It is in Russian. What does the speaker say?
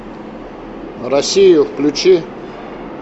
россию включи